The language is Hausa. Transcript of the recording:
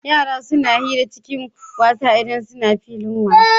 Yara suna suna hira cikin wasa idan suna filin wasa.